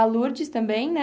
A Lurdes também, né?